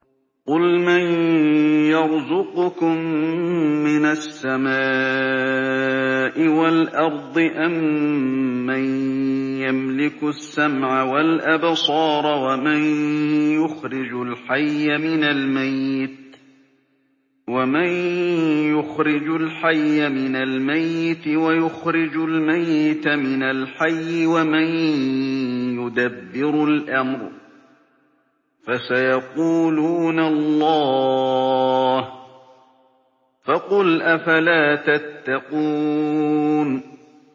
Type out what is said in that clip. قُلْ مَن يَرْزُقُكُم مِّنَ السَّمَاءِ وَالْأَرْضِ أَمَّن يَمْلِكُ السَّمْعَ وَالْأَبْصَارَ وَمَن يُخْرِجُ الْحَيَّ مِنَ الْمَيِّتِ وَيُخْرِجُ الْمَيِّتَ مِنَ الْحَيِّ وَمَن يُدَبِّرُ الْأَمْرَ ۚ فَسَيَقُولُونَ اللَّهُ ۚ فَقُلْ أَفَلَا تَتَّقُونَ